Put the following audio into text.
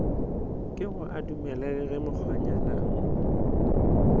kego a dumele ge mokgonyana